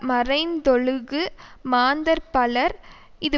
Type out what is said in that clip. மறைந்தொழுகு மாந்தர் பலர் இது